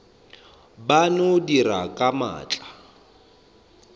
ba no dira ka maatla